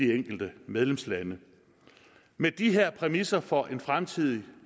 de enkelte medlemslande med de her præmisser for en fremtidig